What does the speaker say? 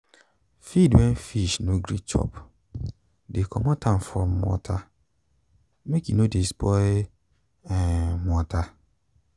feed wen fish no gree chop de comot am from water make e no de spoil um water